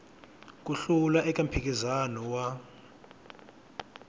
ku hlula eka mphikizano wa